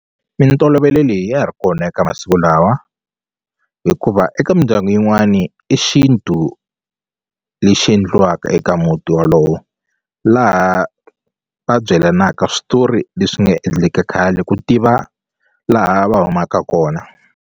Mintolovelo leyi ya ha ri kona eka masiku lawa hikuva eka mindyangu yin'wani i xintu lexi endliwaka eka muti walowo laha va byelanaka switori leswi nga endleka khale ku tiva laha va humaka kona.